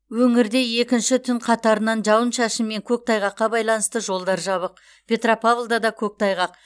өңірде екінші түн қатарынан жауын шашын мен көктайғаққа байланысты жолдар жабық петропавлда да көктайғақ